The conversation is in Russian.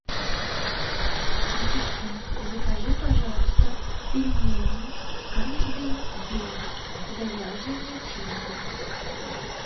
ассистент закажи пожалуйста пельмени каждый день с говяжьей начинкой